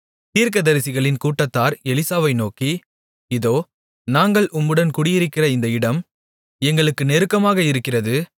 தீர்க்கதரிசிகளின் கூட்டத்தார் எலிசாவை நோக்கி இதோ நாங்கள் உம்முடன் குடியிருக்கிற இந்த இடம் எங்களுக்கு நெருக்கமாக இருக்கிறது